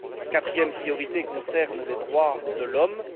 La quatrième priorité concerne les droits de l'homme.